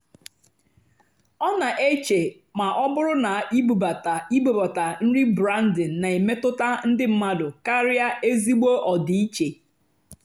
ọ́ nà-èché mà ọ́ bụ́rụ́ ná ìbúbátá ìbúbátá nrì’ brándìng nà-èmétụ́tá ndí mmádụ́ kàrị́á ézìgbò ọ́dị́íché.